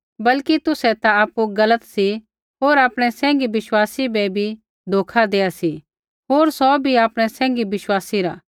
बल्कि तुसै ता आपु गलत सी होर आपणै सैंघी विश्वासी बै भी धोखा देआ सी होर सौ भी आपणै सैंघी विश्वासी रा